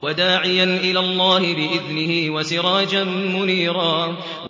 وَدَاعِيًا إِلَى اللَّهِ بِإِذْنِهِ وَسِرَاجًا مُّنِيرًا